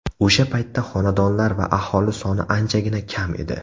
O‘sha paytda xonadonlar va aholi soni anchagina kam edi.